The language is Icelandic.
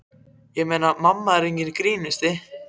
Ég meina, mamma er enginn grínari.